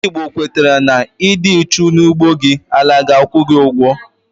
Ndị Igbo kwetara na, Ịdị uchu n'ugbo gị, na àlà ga-akwu gị ugwo